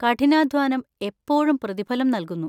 കഠിനാധ്വാനം എപ്പോഴും പ്രതിഫലം നൽകുന്നു.